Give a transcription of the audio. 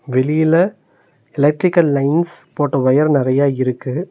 வெளியில electrical lines போட்ட wire நறையா இருக்கு.